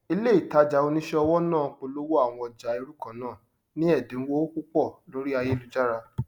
ilé ìtajà oníṣẹ ọwọ náà polowó àwọn ọjà irú kannáà ní ẹdínwó púpọ lorí ayélujára